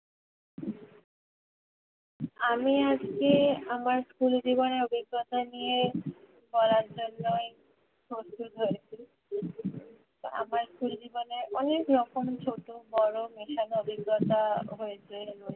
আমি আজকে আমার school জীবনের অভিজ্ঞতা নিয়ে বলার জন্যই প্রস্তুত হয়েছি আমার school জীবনে অনেক রকম ছোট বড়ো মেশানো অভিজ্ঞতা হয়েছে